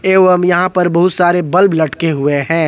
जो हम यहां पर बहुत सारे बल्ब लटके हुए हैं।